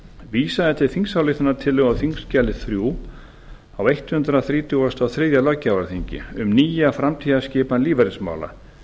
vísað er til þingsályktunartillögu á þingskjali þrjú á hundrað þrítugasta og þriðja löggjafarþingi um nýja framtíðarskipan lífeyrismála